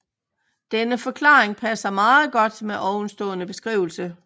Denne forklaring passer meget godt med ovenstående beskrivelse